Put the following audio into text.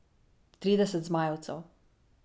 Trideset zmajevcev.